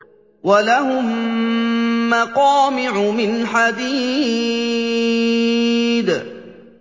وَلَهُم مَّقَامِعُ مِنْ حَدِيدٍ